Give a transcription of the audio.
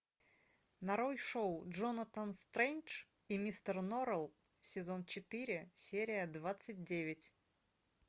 нарой шоу джонатан стрендж и мистер норрелл сезон четыре серия двадцать девять